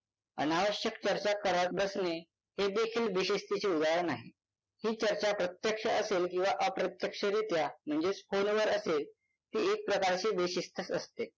अनावश्यक चर्चा करत बसणे हे देखील बेशिस्तीचे उदाहरण आहे ही चर्चा प्रत्यक्ष असेल किंवा अप्रत्यक्षरीत्या म्हणजेच phone वर असेल ती एक प्रकारची बेशिस्तच असते